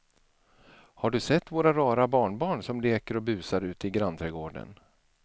Har du sett våra rara barnbarn som leker och busar ute i grannträdgården!